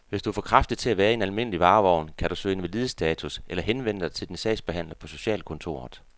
Hvis du er for kraftig til at være i en almindelig varevogn, kan du kan søge invalidestatus eller henvende dig til din sagsbehandler på socialkontoret.